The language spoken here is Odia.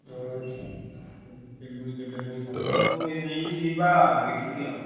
ନେଇକି ଯିବା ଦେଖିବା ଆଊ।